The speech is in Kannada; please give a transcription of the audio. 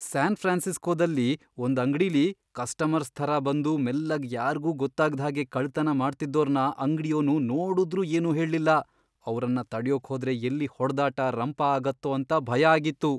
ಸ್ಯಾನ್ ಫ್ರಾನ್ಸಿಸ್ಕೋದಲ್ಲಿ ಒಂದ್ ಅಂಗ್ಡಿಲಿ ಕಸ್ಟಮರ್ಸ್ ಥರ ಬಂದು ಮೆಲ್ಲಗ್ ಯಾರ್ಗೂ ಗೊತ್ತಾಗ್ದ್ಹಾಗೆ ಕಳ್ತನ ಮಾಡ್ತಿದ್ದೋರ್ನ ಅಂಗ್ಡಿಯೋನು ನೋಡುದ್ರೂ ಏನೂ ಹೇಳ್ಲಿಲ್ಲ, ಅವ್ರನ್ನ ತಡ್ಯೋಕ್ ಹೋದ್ರೆ ಎಲ್ಲಿ ಹೊಡ್ದಾಟ, ರಂಪ ಆಗತ್ತೋ ಅಂತ ಭಯ ಆಗಿತ್ತು.